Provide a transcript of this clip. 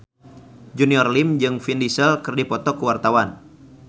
Junior Liem jeung Vin Diesel keur dipoto ku wartawan